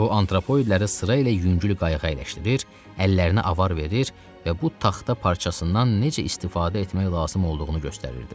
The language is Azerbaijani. O, antropoidləri sırayla yüngül qayığa əyləşdirir, əllərinə avar verir və bu taxta parçasından necə istifadə etmək lazım olduğunu göstərirdi.